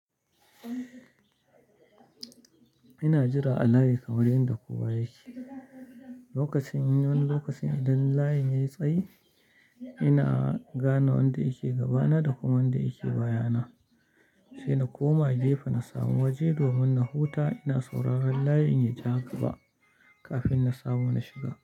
Ina jira a layi kaman yanda kowa yake. Lokacin wani lokaci idan layi yayi tsayi, ina gane wanda yake gabana da kuma wanda yake bayana, sai na koma gefe na samu waje domin na huta ina sauraron layin ya jaƙa kafin na samu na shiga.